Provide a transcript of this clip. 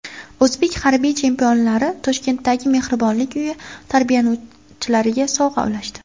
O‘zbek harbiy chempionlari Toshkentdagi mehribonlik uyi tarbiyalanuvchilariga sovg‘a ulashdi .